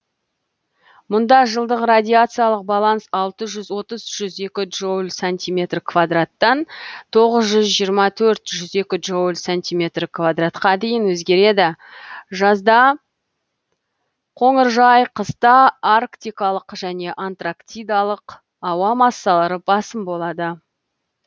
мұнда жылдық радиациялық баланс алты жүз отыз жүз екі джоуль сантиметр квараттан тоғыз жүз жиырма төрт жүз екі джоуль сантиметр квадратқа дейін өзгереді жазда қоныржай қыста арктикалық және антрактикалық ауа массалары басым болады